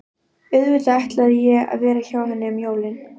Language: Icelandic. Auðvitað ætlaði ég að vera hjá henni um jólin.